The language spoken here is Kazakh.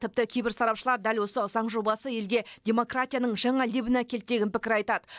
тіпті кейбір сарапшылар дәл осы заң жобасы елге демократияның жаңа лебін әкелді деген пікір айтады